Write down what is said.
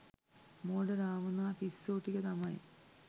මෝඩ රාවණා පිස්සො ටික තමයි